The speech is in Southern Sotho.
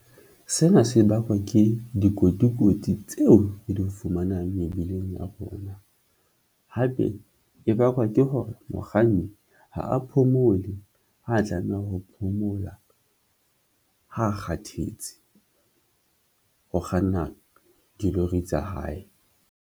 Sena se bakwa ke dikotikoti tseo di fumanang mebileng ya rona. Hape e bakwa ke hore mokganni ha a phomole, ha tlameha ho phomola. Ha a kgathetse ho kganna dilori tsa hae.